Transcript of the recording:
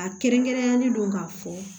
A kɛrɛnkɛrɛnnenyalen don k'a fɔ